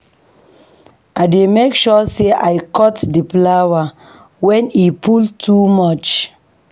I dey make sure sey I cut di flower wen e full too much